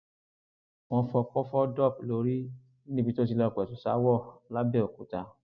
wọn fọkọ fọ dọp lórí níbi tó ti lọọ pẹtù ṣaáwọ lápbẹòkúta